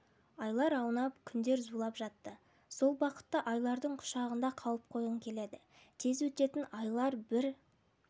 айлар аунап күндер заулап жатты сол бақытты айлардың құшағында қалып қойғың келеді тез өтетін айлар бір